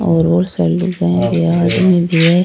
और बोली सारी लुगाइयाँ है आदमी भी है।